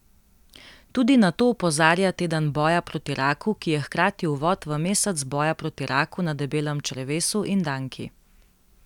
Tudi na to opozarja teden boja proti raku, ki je hkrati uvod v mesec boja proti raku na debelem črevesu in danki.